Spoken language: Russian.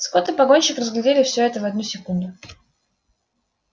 скотт и погонщик разглядели всё это в одну секунду